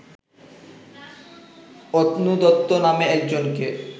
অতনু দত্ত নামে একজনকে